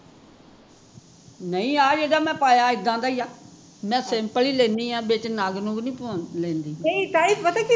ਨਹੀਂ ਆਹ ਜਿਹੜਾ ਮੈਂ ਪਾਇਆ ਇੱਦਾਂ ਦਾ ਈ ਆ simple ਈ ਲੈਂਦੀ ਆ ਵਿੱਚ ਨਗ ਨੁਗ ਨੀ ਪਵਾਉਂਦੀ ਲੈਂਦੀ